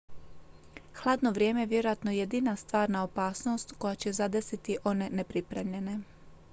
hladno vrijeme je vjerojatno jedina stvarna opasnost koja će zadesiti one nepripremljene